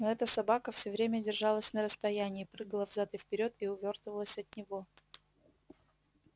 но эта собака все время держалась на расстоянии прыгала взад и вперёд и увёртывалась от него